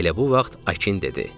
Elə bu vaxt Akin dedi: